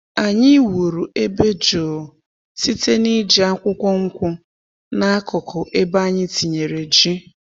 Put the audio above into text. Anyị wuru ebe jụụ site n’iji akwụkwọ nkwụ n’akụkụ ebe anyị tinyere ji.